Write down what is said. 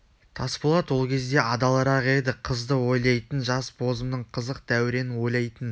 тасболат ол кезде адалырақ еді қызды ойлайтын жас бозымның қызық дәуренін ойлайтын